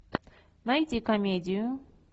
найти комедию